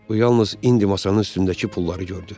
Bu yalnız indi masanın üstündəki pulları gördü.